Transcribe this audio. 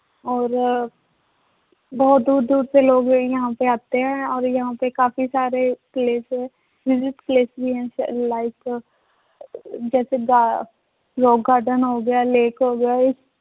ਔਰ ਬਹੁਤ ਦੂਰ ਦੂਰ ਸੇ ਲੋਗ ਯਹਾਂ ਪੇ ਆਤੇ ਹੈ ਔਰ ਯਹਾਂ ਪਰ ਕਾਫ਼ੀ ਸਾਰੇ place ਹੈ place ਵੀ ਹੈ like ਜੈਸੇ ਗਾ~ rock garden ਹੋ ਗਿਆ lake ਹੋ ਗਿਆ ਇਹ